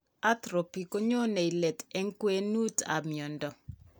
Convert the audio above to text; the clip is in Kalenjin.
Atrophy konyone let eng, kwenut ab miondo